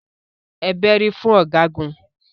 Ẹ bẹ́rí fún Ọ̀gágun.